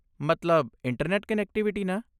ਮਤਲਬ internet connectivity ਨਾ?